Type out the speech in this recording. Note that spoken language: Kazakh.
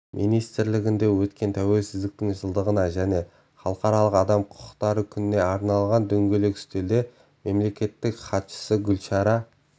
министрлігінде өткен тәуелсіздіктің жылдығына және халықаралық адам құқықтары күніне арналған дөңгелек үстелде мемлекеттік хатшысы гүлшара